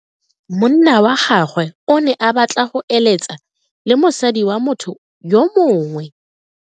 Monna wa gagwe o ne a batla go eletsa le mosadi wa motho yo mongwe.